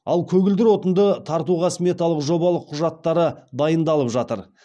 ал көгілдір отынды тартуға сметалық жобалық құжаттары дайындалып жатыр